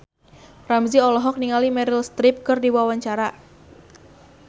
Ramzy olohok ningali Meryl Streep keur diwawancara